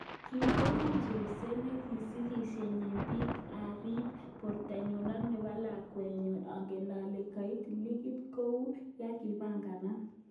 "Kikono cherset nesikisyechin pikk arip. portonyu ak nepo. lakwet nenyuu ager ale kait klinik kou yekipanganat.